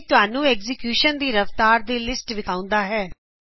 ਇਹ ਤੁਹਾਨੂੰ ਐਗਜੀਕਯੂਸ਼ਨ ਦੀ ਰਫਤਾਰ ਦੀ ਲਿਸਟ ਵਿਖਾਉਂਦਾ ਹੈ